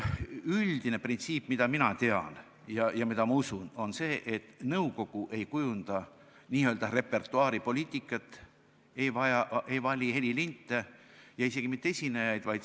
Üldine printsiip, mida mina tean ja mida ma ka usun, on see, et nõukogu ei kujunda n-ö repertuaaripoliitikat, ei vali helilinte ega isegi mitte esinejaid.